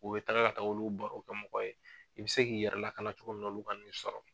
U bɛ taaga ka taga olu baro bɔ kɛ mɔgɔw ye i bi se k'i yɛrɛ lakana cogo min na olu kana n'i sɔrɔ.